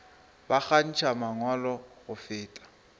ba kgantšha mangwalo go feta